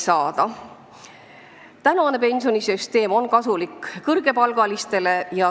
Tänane pensionisüsteem on kasulik kõrgepalgalistele.